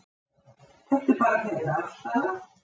Þetta er bara þeirra afstaða